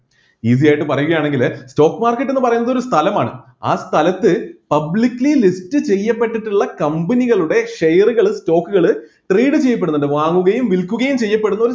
easy ആയിട്ട് പറയുകയാണെങ്കിൽ stock market എന്ന് പറയുന്നത് ഒരു സ്ഥലമാണ് ആ സ്ഥലത്ത് publicly list ചെയ്യപ്പെട്ടിട്ടുള്ള company കളുടെ share കള് stock കള് trade ചെയ്യപ്പെടുന്നുണ്ട് വാങ്ങുകയും വിൽക്കുകയും ചെയ്യപ്പെടുന്ന